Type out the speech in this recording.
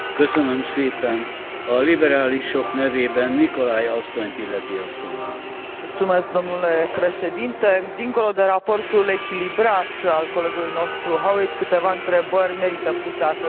Dincolo de raportul echilibrat al colegului nostru Howitt, câteva întrebări merită puse astăzi în această dezbatere, pentru că Macedonia, alături de Turcia, reprezintă țările care așteaptă